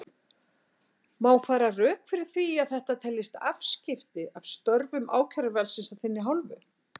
Má færa rök fyrir því að þetta teljist afskipti af störfum ákæruvaldsins af þinni hálfu?